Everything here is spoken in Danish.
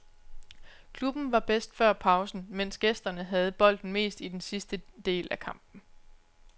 Klubben var bedst før pausen, mens gæsterne havde bolden mest i den sidste del af kampen.